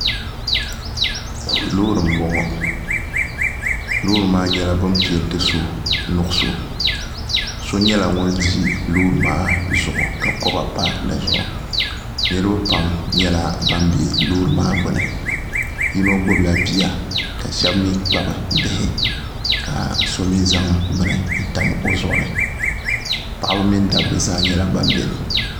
loori n bɔŋɔ loori maa nyɛla bin peenti so nuɣso so nyɛla ŋun ʒi loori maa zuɣu ka kɔba pa dizuɣu niraba pam nyɛla ban bɛ loori maa gbuni yino gbubila bia ka shab mii kpabi bihi ka so mii zaŋ bini n tam o zuɣu ni paɣaba mini dabba zaa nyɛla ban biɛni